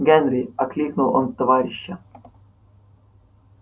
генри окликнул он товарища